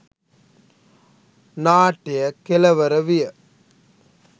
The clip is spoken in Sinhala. නාට්‍යය කෙළවර විය